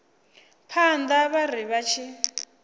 phanḓa vha ri vha tshi